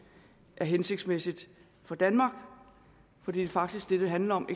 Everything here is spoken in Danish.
er hensigtsmæssigt for danmark for det er faktisk det det handler om